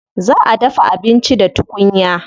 Za a dafa abinci da tukunya.